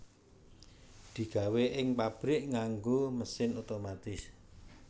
Digawé ing pabrik nganggo mesin otomatis